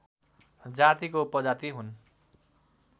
जातिको उपजाति हुन्